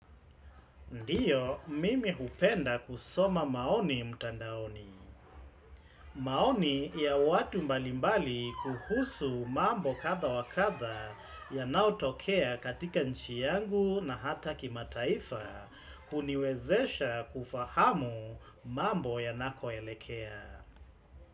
Ndiyo, mimi hupenda kusoma maoni mtandaoni. Maoni ya watu mbalimbali kuhusu mambo kadha wa kadha yanayotokea katika nchi yangu na hata kimataifa kuniwezesha kufahamu mambo yanakoelekea.